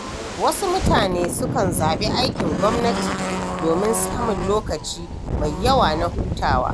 Wasu mutane sukan zaɓi aikin gwamnati domin samun lokaci mai yawa na hutawa.